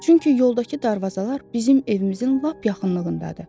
Çünki yoldakı darvazalar bizim evimizin lap yaxınlığındadır.